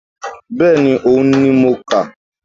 Bẹ́ẹ̀ni òhun ni mo kà